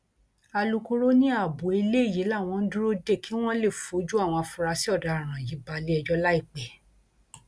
alūkkóró ni abo eléyìí làwọn ń dúró dè kí wọn lè fojú àwọn afurasí ọdaràn yìí balẹẹjọ láìpẹ